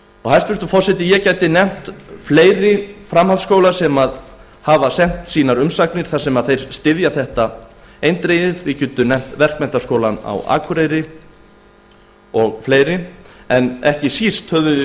hæstvirtur forseti ég gæti nefnt fleiri framhaldsskóla sem hafa sent umsagnir þar sem þeir styðja þetta eindregið til dæmis verkmenntaskólann á akureyri ekki síst höfum